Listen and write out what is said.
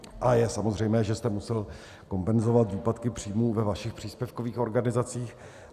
A je samozřejmé, že jste musel kompenzovat výpadky příjmů ve vašich příspěvkových organizacích.